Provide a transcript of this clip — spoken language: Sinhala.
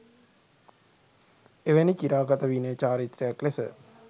එවැනි චිරාගත විනය චාරිත්‍රයක් ලෙස